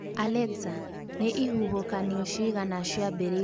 Alexa nĩ ihuhũkanio cigana ciambĩrĩirie mweri ũyũ